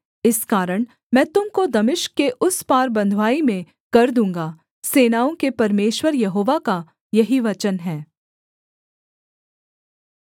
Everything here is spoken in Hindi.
इस कारण मैं तुम को दमिश्क के उस पार बँधुआई में कर दूँगा सेनाओं के परमेश्वर यहोवा का यही वचन है